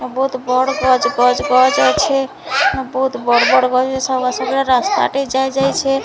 ବହୁତ୍ ବଡ଼୍ ଗଛ୍ ଗଛ୍ ଗଛ୍ ଅଛେ ଏବଂ ବହୁତ ବଡ଼୍ ବଡ଼୍ ବହିଏ ସରୁଆ ସରୁଆ ରାସ୍ତା ଟେ ଯାଇ ଯାଉଛେ।